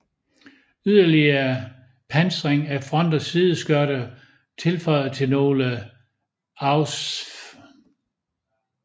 Yderlige pansring af front og sideskørter tilføjet til nogle Ausf